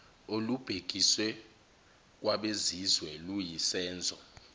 olubhekiswe kwabezizwe luyisenzo